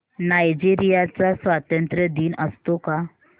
Nigeria चा स्वातंत्र्य दिन असतो का